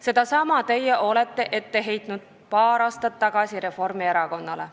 Sedasama olete te ise paar aastat tagasi ette heitnud Reformierakonnale.